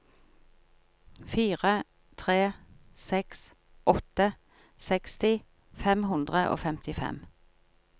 fire tre seks åtte seksti fem hundre og femtifem